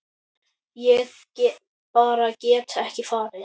Ég bara get ekki farið